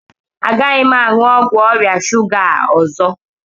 Agaghị m aṅụ ọgwụ ọrịa shuga a ọzọ